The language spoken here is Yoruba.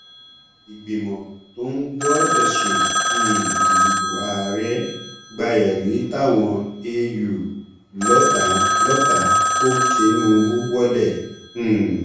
ìgbìmọ tó ń gbọ ẹsùn um ìdìbò àárẹ gba ẹrí táwọn eu lọ ta lọ ta ko tinubu wọlẹ um